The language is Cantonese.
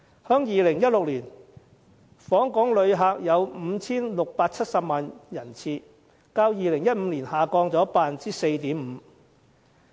在2016年，訪港旅客有 5,670 萬人次，較2015年下跌 4.5%。